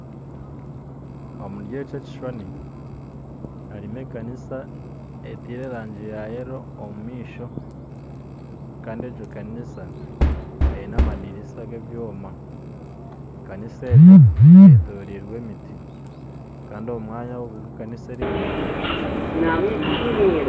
Omuri eki kishuushani harimu ekaniisa etaire erangi yayeero omumaisho, kandi egyo kaniisa aine amandiriisa g'ebyooma, ekaniisa egyo eyetoraire emiiti, kandi omwanya ogu ekaniisa erimu omushaana gurimu nigunjwa